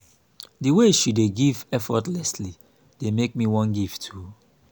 the way she dey give effortlessly dey make me wan give too